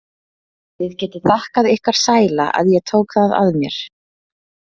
Þið getið þakkað ykkar sæla að ég tók það að mér.